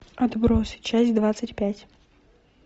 отбросы часть двадцать пять